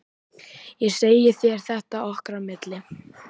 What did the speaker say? Ég segi þér þetta okkar á milli